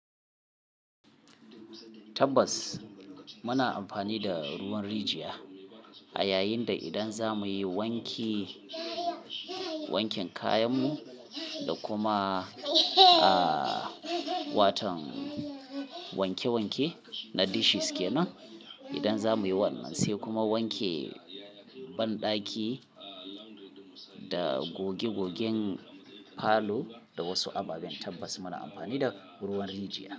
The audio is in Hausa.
Tabbas muna amfani da ruwan rijiya a yayin da idan za mu yi wanki- wankin kayanmu da kuma, ah, watan wanke-wanke na dishes kenan. Idan za mu yi wannan sai kuma wanke bandaki da goge-gogen falo da wasu ababen, tabbas muna amfani da ruwan rijiya.